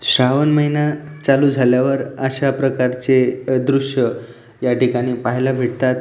श्रावण महिना चालू झाल्यावर अशा प्रकारचे अ दृश या ठिकाणी पाहायला भेटतात.